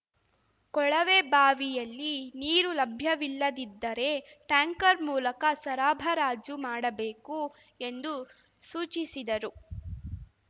ಕೊಳವೆ ಬಾವಿಯಲ್ಲಿ ನೀರು ಲಭ್ಯವಿಲ್ಲದಿದ್ದರೆ ಟ್ಯಾಂಕರ್ ಮೂಲಕ ಸರಬರಾಜು ಮಾಡಬೇಕು ಎಂದು ಸೂಚಿಸಿದರು